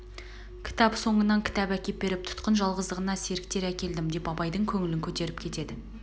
кітап соңынан кітап әкеп беріп тұтқын жалғыздығына серктер әкелдім деп абайдың көңілін көтеріп кетеді